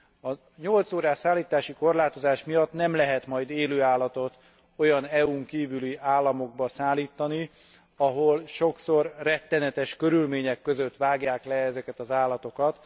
A 8 órás szállítási korlátozás miatt nem lehet majd élő állatot olyan EU n kívüli államokba szállítani, ahol sokszor rettenetes körülmények között vágják le ezeket az állatokat.